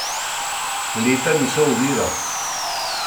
Leta niso ovira!